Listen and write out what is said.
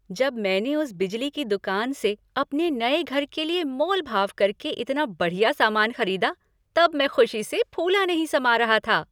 जब मैंने उस बिजली की दुकान से अपने नए घर के लिए मोल भाव करके इतना बढ़िया सामान खरीदा तब मैं खुशी से फूला नहीं समा रहा था।